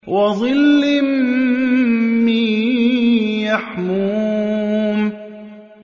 وَظِلٍّ مِّن يَحْمُومٍ